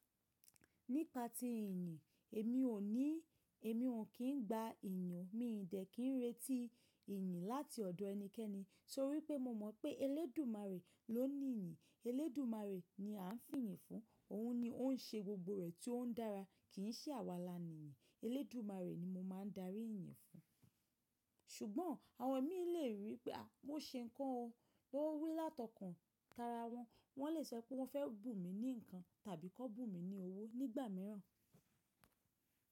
Nípa ti ìyìn, èmi ò ní, èmi ò kín gba ìyàn. Mi ìdẹ́ kín ń retí ìyìn láti ọ̀dọ̀ ẹnikẹ́ni, tórí pé mo mọ̀ pé Elédùmarè ló ní ìyìn. Elédùmarè ni a ń fìyì fún. Òún ni ó ń ṣe gbogbo rẹ̀ tí ó ń dára, kì í ṣe àwa alánìyàn. Elédùmarè ni mo máa ń darí ìyìn fún. Ṣùgbọ́n àwọn ẹ̀mí lè rí pé a, mo ṣe nǹkan o. Wọn wí látọkàn tara wọn. Wọ́n lè sọ pé wọ́n fẹ́ bù mí ní nǹkan tàbí kọ́ bù mí ní owó nígbà mìíràn.